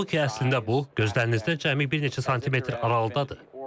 Halbuki, əslində bu, gözlərinizdən cəmi bir neçə santimetr aralıdadır.